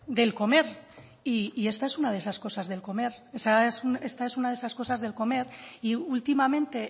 del comer y esta es una de esas cosas del comer esta es una de esas cosas del comer y últimamente